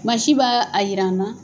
Masin b'a a jira an na.